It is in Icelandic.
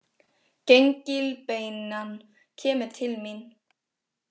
Gengilbeinan kemur til mín.